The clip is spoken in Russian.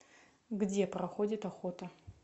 где проходит охота